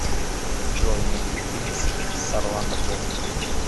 джой найти фильм с с орландо блум